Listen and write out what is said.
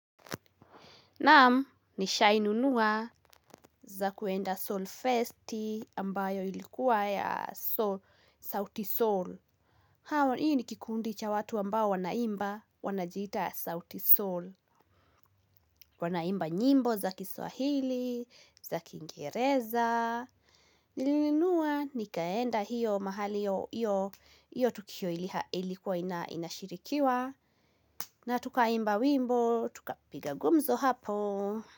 Naam, nishainu nuwa za kuenda Sol Festi ambayo ilikuwa ya Sauti Sol. Hawa, hii ni kikundi cha watu ambao wanaimba wanajita Sauti Sol. Wanaimba nyimbo za kiswahili, za kingereza. Nilinunua nikaenda hiyo mahali yo, hio tukio ilikuwa inashirikiwa. Na tuka imba wimbo, tuka piga gumzo hapo.